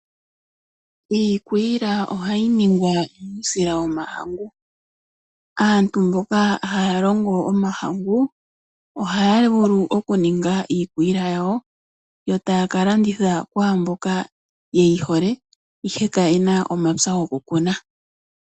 Iikwiila ohayi ningwa nuusila wo mahangu. Aantu mboka haya longo omahangu ohaya vulu oku ninga iikwiila yawo, yo taya ka landitha ku mboka yeyi hole ihe ka yena omapya goku kuna.